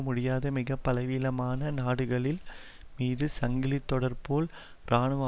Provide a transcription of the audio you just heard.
முடியாத மிக பலவீனமான நாடுகளில் மீது சங்கிலி தொடர்போல் இராணுவ